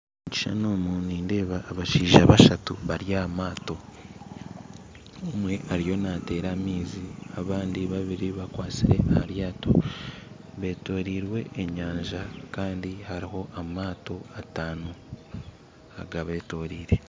Omukishushani omu nindeebamu abashaija bashatu bari ahamatto omwe ariyo natera amaizi abandi babiri bakwatsire aharyato betoreirwe enyanja Kandi hariho amatto atano agabetoreire.